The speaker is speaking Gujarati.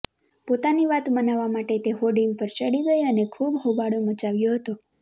પોતાની વાત મનાવવા માટે તે હોર્ડિંગ પર ચડી ગઈ અને ખૂબ હોબાળો મચાવ્યો હતો